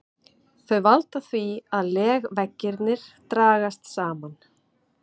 Þau valda því að legveggirnir dragast saman.